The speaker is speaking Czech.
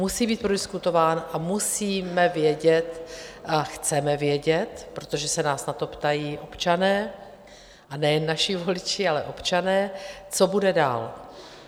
Musí být prodiskutován a musíme vědět a chceme vědět, protože se nás na to ptají občané, a nejen naši voliči, ale občané, co bude dál.